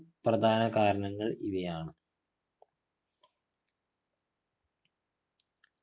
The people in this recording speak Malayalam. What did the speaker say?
പ്രധാനകാരണങ്ങൾ ഇവയാണ്